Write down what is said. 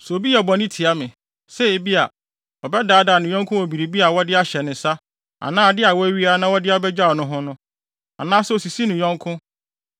“Sɛ obi yɛ bɔne tia me, sɛ ebia, ɔbɛdaadaa ne yɔnko wɔ biribi a wɔde ahyɛ ne nsa anaa ade a wɔawia na wɔde abegyaw no no ho, anaasɛ osisi ne yɔnko,